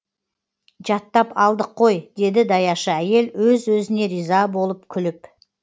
жаттап алдық қой деді даяшы әйел өз өзіне риза болып күліп